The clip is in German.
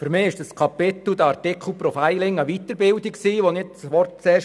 Für mich stellte das Kapitel «Profiling» eine Weiterbildung dar;